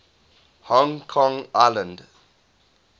hong kong island